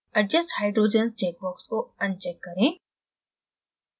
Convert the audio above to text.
adjust hydrogens check box को uncheck करें